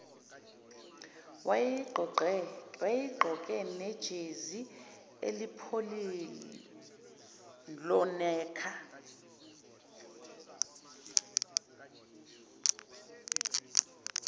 wayeyigqoke nejezi elingupholonekha